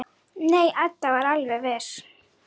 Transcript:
Nei, Edda er alveg viss.